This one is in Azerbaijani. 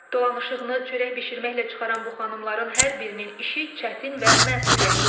Dolanışığını çörək bişirməklə çıxaran bu xanımların hər birinin işi çətin və məsuliyyətlidir.